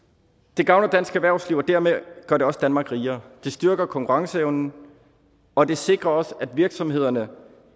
det gavner dansk erhvervsliv og dermed gør det også danmark rigere det styrker konkurrenceevnen og det sikrer også at virksomhederne